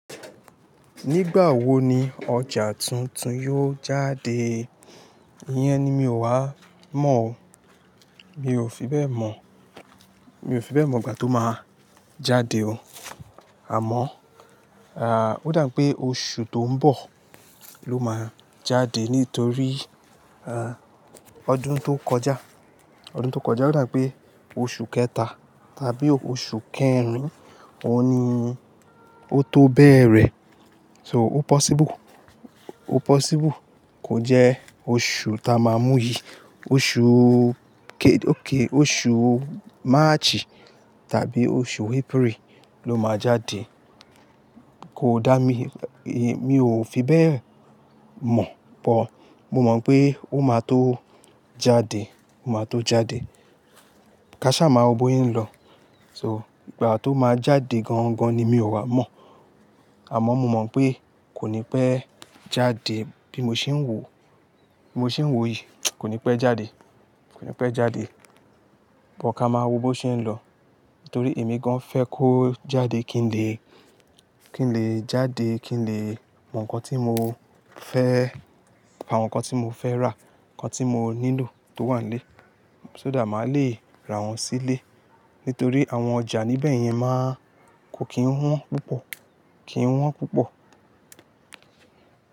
Nígbà wo ni ọjà tuntun yóò jáde? Iyẹn ni mi ò wá mọ̀ o. Mi ò fi bẹ́ẹ̀ mọ̀, mi ò fi bẹ́ẹ̀ mọ̀ ìgbà tó máa jáde o. Àmọ́, ó dà pé oṣù tó ń bọ̀ ló máa jáde nítorí, ọdún tó kọjá, ọdún tó kọjá ó dà pé oṣù kẹta tàbí oṣù kẹrin òun ni. Ó tó bẹ̀rẹ̀. So, o possible, o possible kò jẹ́ oṣù ta máa múyì. Oṣù ké-- òké, oṣù March tàbí oṣù April ló máa jáde. Kò dá mi, èyí mi ò fi bẹ́ẹ̀ mọ̀ but mo mọ̀ pé ó máa tó jáde, ó máa tó jáde. Kaṣá máa wo bóyen lọ. So, ìgbà tó máa jáde gan-an gan-an ni mi ò wá mọ̀. Àmọ́ mo mọ̀ pé kò ní pẹ́ jáde bí mo ṣe ń wò, bí mo ṣe ń wò yìí, kò ní pẹ́ jáde, kò ní pẹ́ jáde. Bọ́ ka máa wo bó ṣe ń lọ. Nítorí èmi gan fẹ́ kó jáde kí n lè, kí n lè jáde kí n lè mọ̀ ǹkan tí mo fẹ́, àwọn ǹkan tí mo fẹ́ rà, ǹkan tí mo nílò tó wà nílé. Só dà máa le ra wọ́n sílé. Nítorí àwọn ọjà níbẹ̀ yẹn máa kò kí ń wọ́n púpọ̀, kí ń wọ́n púpọ̀.